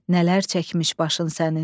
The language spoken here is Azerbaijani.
Nələr çəkmiş başın sənin.